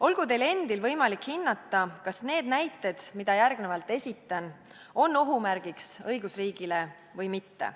Olgu teil endil võimalik hinnata, kas need näited, mida järgnevalt esitan, on ohumärk õigusriigile või mitte.